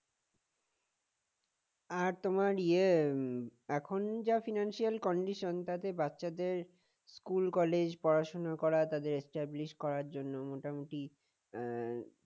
আর তোমার ইয়ে এখন যা financial condition তাতে বাচ্চাদের school college পড়াশোনা করা তাদের establish করার জন্য মোটামুটি আহ